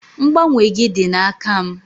Mgbanwe gị dị n'aka m.